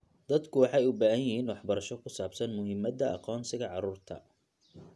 Dadku waxay u baahan yihiin waxbarasho ku saabsan muhiimadda aqoonsiga carruurta.